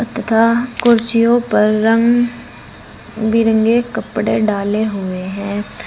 तथा कुर्सियों पर रंग बिरंगे कपड़े डाले हुए हैं।